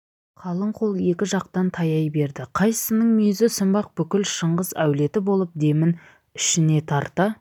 қалың қол екі жақтан таяй берді қайсысының мүйізі сынбақ бүкіл шыңғыс әулеті болып демін ішіне тарта